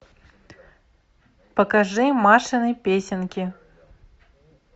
покажи машины песенки